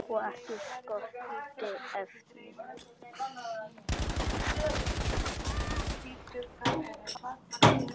Og ekki skorti efni.